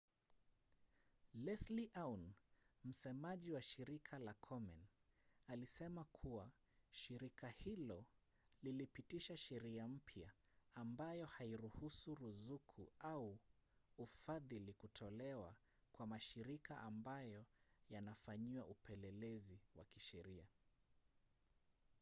leslie aun msemaji wa shirika la komen alisema kuwa shirika hilo lilipitisha sheria mpya ambayo hairuhusu ruzuku au ufadhili kutolewa kwa mashirika ambayo yanafanyiwa upelelezi wa kisheria